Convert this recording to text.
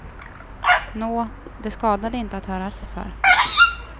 Nå, det skadade inte att höra sig för.